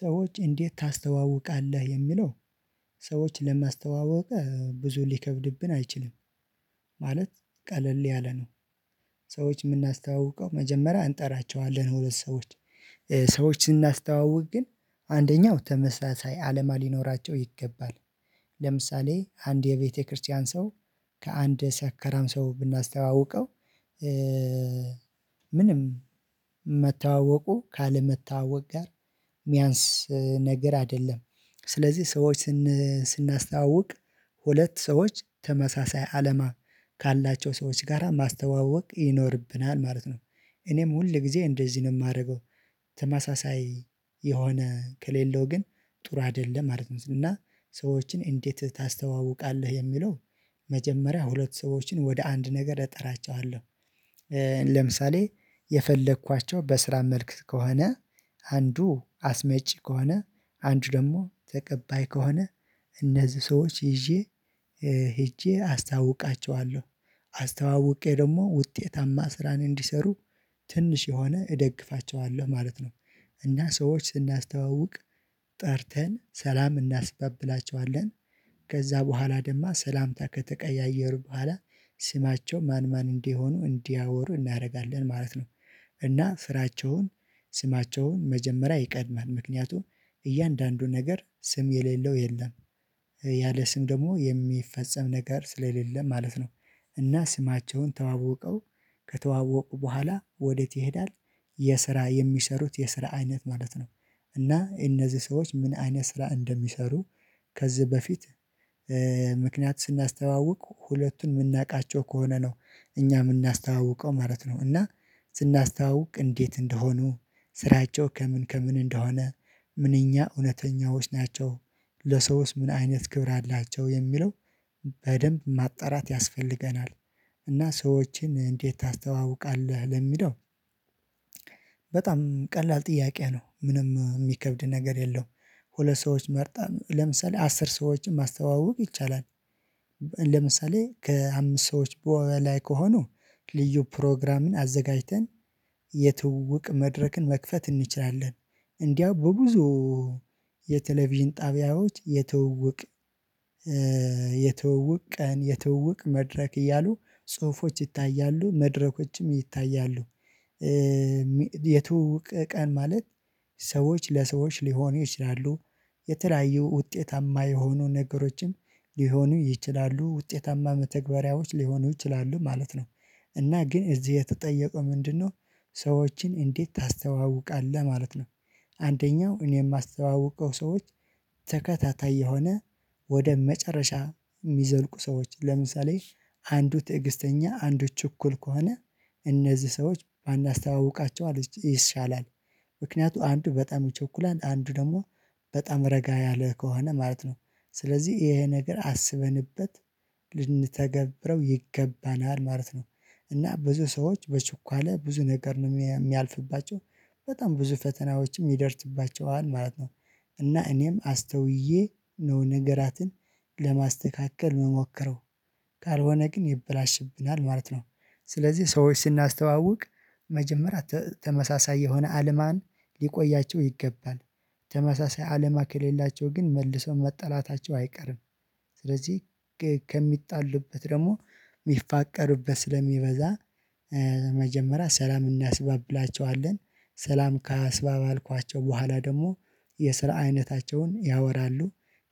ሰዎች እንዴት ታስተዋውቃለህ የሚለው ሰዎች ለማስተዋወቅ ብዙ ሊከብድብን አይችልም? ማለት ቀለል ያለ ነው። ሰዎች የምናስተዋውቀው መጀመሪያ እንጠራቸዋለን ሁለት ሰዎች ሰዎችን ስናስተዋውቅ ግን አንደኛው ተመሳሳይ አለማ ሊኖራቸው ይገባል። ለምሳሌ አንድ የቤተክርስቲያን ሰው ከአንድ ሲያከራም ሰው ብናስተዋውቀው ምንም መታወቁ ካለመታወቅ ጋር የሚያንስ ነገር አይደለም። ስለዚህ ሰዎች ስናስተዋውቅ ሁለት ሰዎች ተመሳሳይ አለማ ካላቸው ሰዎች ጋራ ማስተዋወቅ ይኖርብናል ማለት ነው። እኔም ሁል ጊዜ እንደዚህ ነው የማደርገው ተማሳሳይ የሆነ ከሌለው ግን ጥሩ አይደለም ማለት ነው። እና ሰዎችን እንዴት ታስተዋውቃለህ የሚለው? መጀመሪያ ሁለት ሰዎችን ወደ አንድ ነገር እጠራቸዋለሁ። ለምሳሌ የፈለኳቸው በስራ መልክ ከሆነ አንዱ አስመጪ ከሆነ አንዱ ደግሞ ተቀባይ ከሆነ እነዚህ ሰዎች ይዤ ሂጄ አስተዋውቃቸዋለሁ አስተዋውቄ ደግሞ ውጤታማ ስራን እንዲሰሩ ትንሽ የሆነ እደግፋቸዋለሁ ማለት ነው። እና ሰዎች ስናስተዋውቅ ጠርተን ሰላም እናስባብላቸዋለን ከዛ በኋላ ደግሞ ሰላምታ ከተቀያየሩ በኋላ ስማቸው ማን ማን እንዲሆኑ እንዲያወሩ እናደርጋለን ማለት ነው። እና ስራቸውን ስማቸውን መጀመሪያ ይቀድማል ምክንያቱም እያንዳንዱ ነገር ስም የሌለው የለም ያለ ስም ደግሞ የሚፈጸም ነገር ስለሌለም ማለት ነው። እና ስማቸውን ተዋቀው ከተዋወቁ በኋላ ወዴት ይሄዳል? የስራ የሚሰሩት የስራ አይነት ማለት ነው። እና እነዚህ ሰዎች ምን አይነት ስራ እንደሚሰሩ ከዚህ በፊት ምክንያት ስናስተዋውቅ ሁለቱን የምናውቃቸው ከሆነ ነው እኛ የምናስተዋውቀው ማለት ነው። እና ስናስተዋውቅ እንዴት እንደሆኑ ስራቸው ከምን ከምን እንደሆነ ምንኛ እውነተኛዎች ናቸው። ለሰውስ ምን አይነት ክብር አላቸው የሚለው በደንብ ማጣራት ያስፈልገናል። እና ሰዎችን እንዴት ታስተዋውቃለህ ለሚለው? በጣም ቀላል ጥያቄ ነው ምንም የሚከብድ ነገር የለውም። ሁለ ሰዎች መርጠን ለምሳሌ አስር ሰዎችን ማስተዋወቅ ይቻላል። ለምሳሌ ከአምስት ሰዎች በወላይ ከሆኑ ልዩ ፕሮግራምን አዘጋጅተን የትውውቅ መድረክን መክፈት እንችላለን እንዲያው በብዙ የቴሌቪዥን ጣቢያዎች የተውውቅ የተውውቅ ቀን የተውውቅ መድረክ እያሉ ጽሁፎች ይታያሉ መድረኮችም ይታያሉ። የትውውቅ ቀን ማለት ሰዎች ለሰዎች ሊሆኑ ይችላሉ። የተለያዩ ውጤታማ የሆኑ ነገሮችም ሊሆኑ ይችላሉ ውጤታማ መተግበሪያዎች ሊሆኑ ይችላሉ ማለት ነው። እና ግን እዚህ የተጠየቀው ምንድነው? ሰዎችን እንዴት ታስተዋውቃለህ ማለት ነው። አንደኛው እኔ የማስተዋውቀው ሰዎች ተከታታይ የሆነ ወደ መጨረሻ የሚዘልቁ ሰዎች ለምሳሌ አንዱ ትዕግስተኛ አንዱ ችኩል ከሆነ እነዚህ ሰዎች ባናስተዋውቃቸው ይሻላል። ምክንያቱ አንዱ በጣም ይቸኩላል አንዱ ደግሞ በጣም ረጋ ያለህ ከሆነ ማለት ነው። ስለዚህ ይሄ ነገር አስበንበት ልንተገብረው ይገባናል ማለት ነው። እና ብዙ ሰዎች በችኳለ ብዙ ነገር ነው የሚያልፍባቸው በጣም ብዙ ፈተናዎችም ይደርስባቸዋል ማለት ነው። እና እኔም አስተውዬ ነው ነገራትን ለማስተካከል የምሞክረው ካልሆነ ግን ይበላሽብናል ማለት ነው። ስለዚህ ሰዎች ስናስተዋውቅ መጀመሪያ ተመሳሳይ የሆነ አለማን ሊቆያቸው ይገባል። ተመሳሳይ አለማ ከሌላቸው ግን መልሶ መጥላታቸው አይቀርም። ስለዚህ ከሚጣሉበት ደግሞ ሚፋቀሩበት ስለሚበዛ ሰላም እናስባብላቸዋለን። ሰላም ካስባብልኳቸው በኋላ ደግሞ የስራ አይነታቸውን ያወራሉ።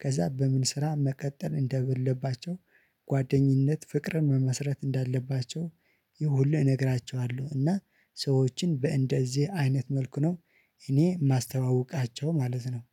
ከዛ በምን ስራ መቀጠል እንደበለባቸው ጓደኝነት ፍቅርን መመስረት እንዳለባቸው ይሁሉ እነግራችኋለሁ እና ሰዎችን በእንደዚህ አይነት መልኩ ነው። እኔ ማስተዋውቃቸው ማለት ነው።